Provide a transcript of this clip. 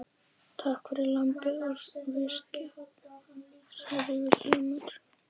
Takk fyrir lambið og viskíið, sagði Vilhelm.